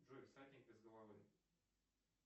джой всадник без головы